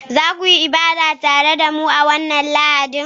za ku yi ibada tare da mu a wannan Lahadin?